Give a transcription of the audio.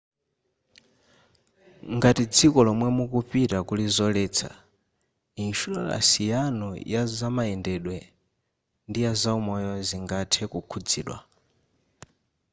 ngati dziko lomwe mukupita kuli zoletsa ishuraransi yanu ya zamayendedwe ndi yazaumoyo zingathe kukhudzidwa